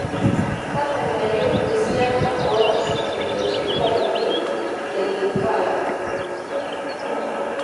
tadalayu esiana ooo ilsingolioni laine le linkala